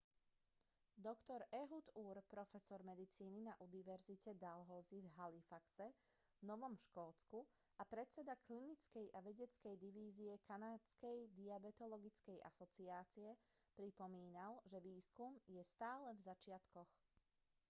dr ehud ur profesor medicíny na univerzite dalhousie v halifaxe v novom škótsku a predseda klinickej a vedeckej divízie kanadskej diabetologickej asociáce pripomínal že výskum je stále v začiatkoch